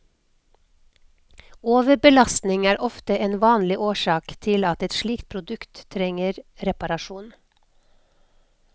Overbelastning er ofte en vanlig årsak til at et slikt produkt trenger reparasjon.